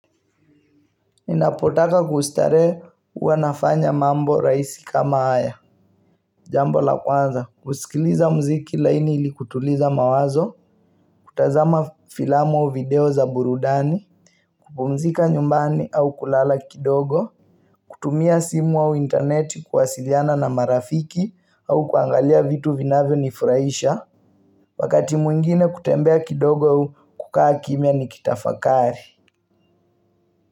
Ninapotaka kustare uwa nafanya mambo raisi kama haya Jambo la kwanza kusikiliza mziki laini ilikutuliza mawazo kutazama filamu au video za burudani kupumzika nyumbani au kulala kidogo kutumia simu au internet kuwasiliana na marafiki au kuangalia vitu vinavyo nifuraisha Wakati mwingine kutembea kidogo u kukaa kimia ni kitafakari.